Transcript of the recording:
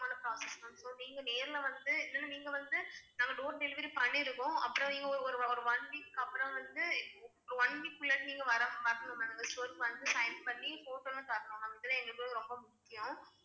Process ma'am so நீங்க நேர்ல வந்து நீங்க வந்து நாங்க door delivery பண்ணிடுவோம் அப்புறம் நீங்க ஒரு ஒரு one week அப்புறம் வந்து one week குள்ள நீங்க வரணும் வரணும் ma'am store க்கு வந்து sign பண்ணி photo ல்லாம் தரணும் ma'am இதெல்லாம் எங்களுக்கு வந்து ரொம்ப முக்கியம்